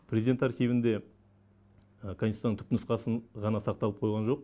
президент архивінде конституцияның түпнұсқасын ғана сақталып қойған жоқ